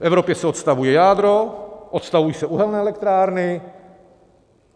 V Evropě se odstavuje jádro, odstavují se uhelné elektrárny.